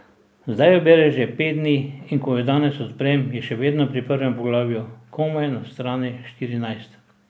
Zdaj jo bere že pet dni in ko jo danes odprem, je še vedno pri prvem poglavju, komaj na strani štirinajst.